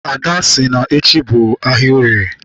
Ada si na-echi bụ ahịa orie.